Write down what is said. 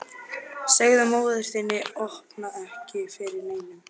Segðu móður þinni að opna ekki fyrir neinum.